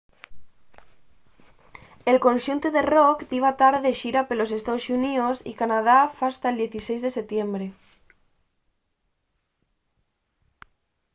el conxuntu de rock diba tar de xira pelos estaos xuníos y canadá fasta’l 16 de setiembre